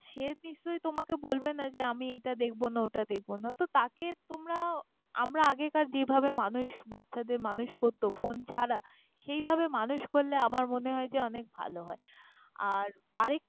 সে নিশ্চই তোমাকে বলবে না যে আমি এটা দেখবো না, ওটা দেখবো না তো তাকে তোমরা আমরা আগেকার যেভাবে মানুষ বাচ্ছাদের মানুষ করত phone ছাড়া, সেইভাবে মানুষ করলে আমার মনে হয় যে অনেক ভাল হয়। আর আর এক~।